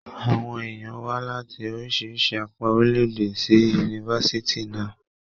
Àwọn èèyàn wá láti oríṣiríṣi apá orilẹ-èdè sí yunifásítì náà.